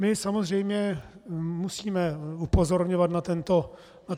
My samozřejmě musíme upozorňovat na tento stav.